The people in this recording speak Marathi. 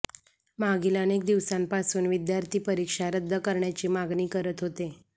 मागील अनेक दिवसांपासून विद्यार्थी परीक्षा रद्द करण्याची मागणी करत होते